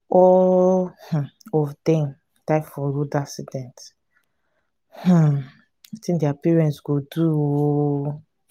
all um of dem die for road accident. um wetin their parents go do um.